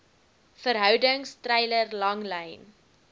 verhoudings treiler langlyn